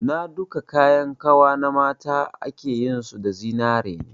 Na duka kayan kawa na mata akeyin su da zinariya ne